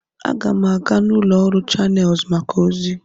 Aga m aga n'ụlọ ọrụ Chanelụs maka ozi.